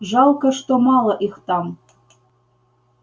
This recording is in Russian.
жалко что мало их там